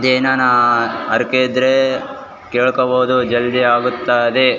ಏನನಾ ಹರ್ಕೆ ಇದ್ರೆ ಕೇಳ್ಕೊಬಹುದು ಜಲ್ದಿ ಆಗುತ್ತಾದೆ.